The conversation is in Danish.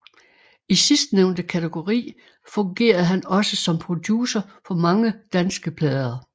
I sidstnævnte kategori fungerede han også som producer på mange danske plader